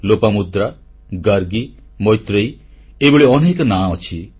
ଲୋପାମୁଦ୍ରା ଗାର୍ଗୀ ମୈତ୍ରେୟୀ ଏଭଳି ଅନେକ ନାମ ଅଛି